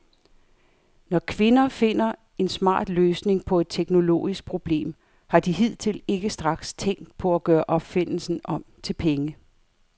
Når kvinder finder en smart løsning på et teknologisk problem, har de hidtil ikke straks tænkt på at gøre opfindelsen om til penge.